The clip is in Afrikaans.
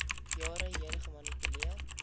jare heen gemanipuleer